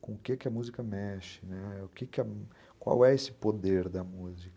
com o que a música mexe, qual é esse poder da música.